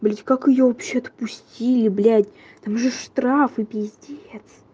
блять как её вообще отпустили блять там же штрафы пиздец